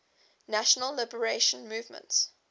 national liberation movements